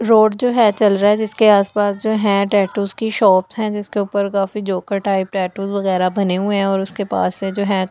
road जो है चल रहा है जिसके आस पास जो है टैटू की शॉप है जिसके ऊपर काफ़ी जोकर टाइप टैटू वगेरा बने हुए है और उसके पास से जो है --